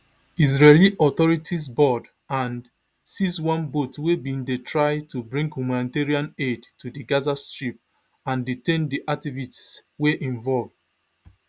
israeli authorities board and seize one boat wey bin dey try to bring humanitarian aid to di gaza strip and detain di activists wey involve